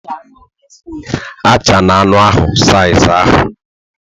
Achala anụ ahụ saiz ahụ